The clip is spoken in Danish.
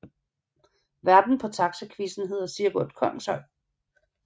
Værten på Taxaquizzen hedder Sigurd Kongshøj